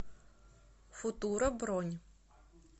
футура бронь